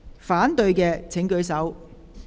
反對的請舉手。